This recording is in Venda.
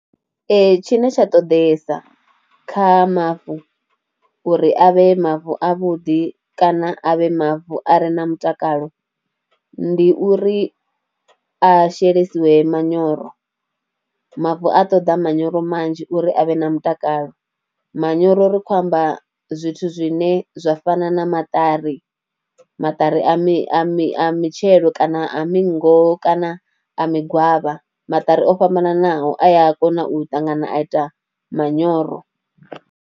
Tshine tsha ṱoḓeyesa kha mavu uri a vhe mavu avhuḓi kana a vhe mavu a re na mutakalo ndi uri a shelesiwe manyoro, mavu a ṱoḓa manyoro manzhi uri a vhe na mutakalo. Manyoro ri khou amba zwithu zwine zwa fana na maṱari, maṱari a mi a mi a mitshelo kana miroho kana a mingo kana a migwavha, maṱari o fhambananaho a ya kona u ṱangana a ita manyoro.